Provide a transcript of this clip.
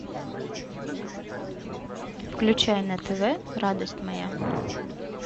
включай на тв радость моя